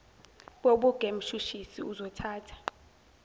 bobuge mshushisi uzothatha